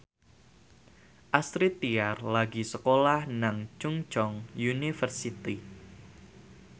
Astrid Tiar lagi sekolah nang Chungceong University